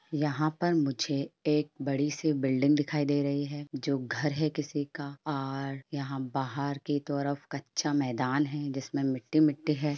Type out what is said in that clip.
यहाँ पर मुझे एक बड़ी सी बिल्डिंग दिखाई दे रही है। जो घर है किसी का और यहाँ बाहर की तरफ कच्चा मैदान है जिसमें मिट्टी-मिट्टी है।